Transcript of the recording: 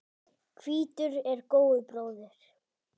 Hvítur er góu bróðir.